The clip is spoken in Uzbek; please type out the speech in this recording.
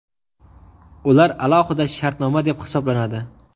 ular alohida shartnoma deb hisoblanadi.